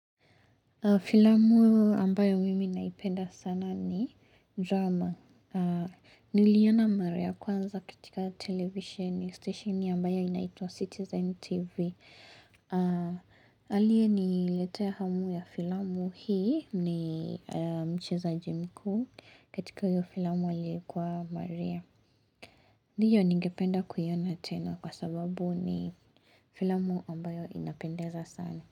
Filamu ambayo mimi naipenda sana ni drama Niliona mara kwanza katika televisheni stesheni ambayo inaitwa Citizen TV aliye ni letea ya hamu ya filamu hii ni mchezaji mkuu katika hio filamu aliyekuwa maria Ndiyo ningependa kuiona tena kwa sababu ni filamu ambayo inapendeza sana.